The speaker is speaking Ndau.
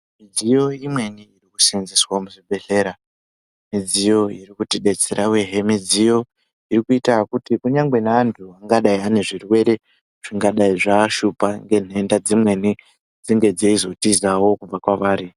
Midziyo imweni iri kusenzeswa muzvibhehleya midziyo iri kutidetsera uyehe midziyo irikuita kuti kunyangwe neantu angadai ane zvirwere zvingadai zvashupa ngenhenda dzimweni dzenge dzeizotizawo kubva kwavari.